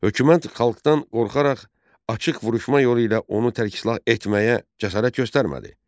Hökumət xalqdan qorxaraq açıq vuruşma yolu ilə onu tərksilah etməyə cəsarət göstərmədi.